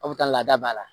Aw bɛ taa laada b'a la